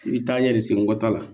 I bɛ taa ɲɛ de sen nkɔ ta la